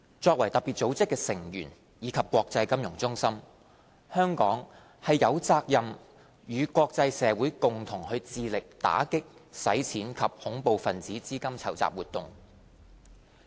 作為特別組織的成員及國際金融中心，香港有責任與國際社會共同致力打擊洗錢及恐怖分子資金籌集活動。